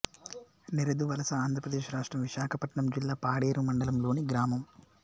నెరెదువలస ఆంధ్ర ప్రదేశ్ రాష్ట్రం విశాఖపట్నం జిల్లా పాడేరు మండలం లోని గ్రామం